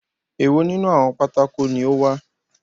Èwo nínú àwọn pátákó ni ó wà?